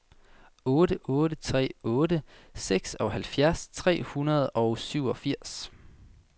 otte otte tre otte seksoghalvfjerds tre hundrede og syvogfirs